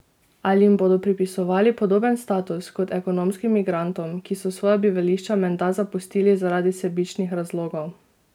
Ali jim bodo pripisovali podoben status kot ekonomskim migrantom, ki so svoja bivališča menda zapustili zaradi sebičnih razlogov?